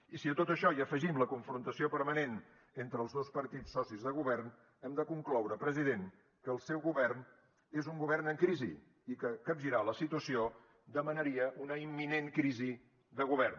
i si a tot això hi afegim la confrontació permanent entre els dos partits socis de govern hem de concloure president que el seu govern és un govern en crisi i que capgirar la situació demanaria una imminent crisi de govern